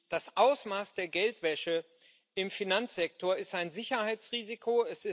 Das Ausmaß der Geldwäsche im Finanzsektor ist ein Sicherheitsrisiko.